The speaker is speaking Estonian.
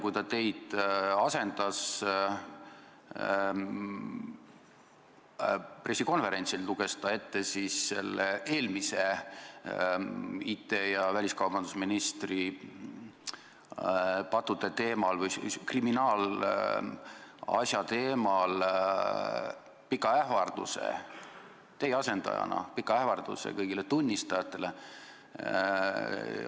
Kui ta teid pressikonverentsil asendas, luges ta eelmise IT- ja väliskaubandusministri pattudest ja tema kriminaalasjast rääkides ette pika ähvarduse kõigile tunnistajatele.